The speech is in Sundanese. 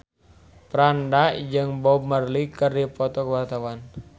Franda jeung Bob Marley keur dipoto ku wartawan